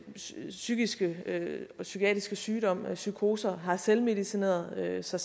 psykiske og psykiatriske sygdom psykoser har selvmedicineret sig